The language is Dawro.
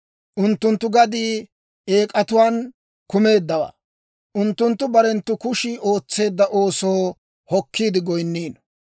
Unttunttu gaddii eek'atuwaan kumeeddawaa; unttunttu barenttu kushii ootseedda oosoo hokkiide goyinniino.